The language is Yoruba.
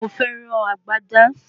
Mo fẹ́ rán agbádá